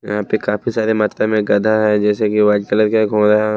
यहां पे काफी सारे मात्रा में गधा है जैसे कि व्हाइट कलर का घोड़ा।